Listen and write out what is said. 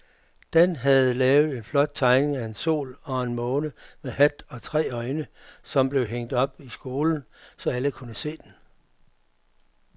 Dan havde lavet en flot tegning af en sol og en måne med hat og tre øjne, som blev hængt op i skolen, så alle kunne se den.